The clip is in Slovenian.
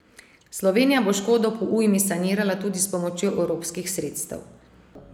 Slovenija bo škodo po ujmi sanirala tudi s pomočjo evropskih sredstev.